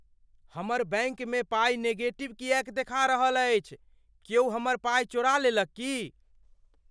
हमर बैंकमे पाइ नेगेटिवमे किएक देखा रहल अछि? क्यौ हमर पाइ चोरा लेलक की?